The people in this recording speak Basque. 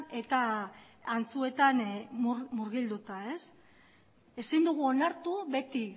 eta antzuetan murgilduta ez ezin dugu onartu beti